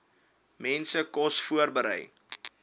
mense kos voorberei